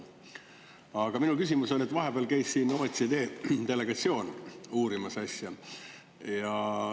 Aga minu küsimus on, et vahepeal käis siin OSCE delegatsioon asja uurimas.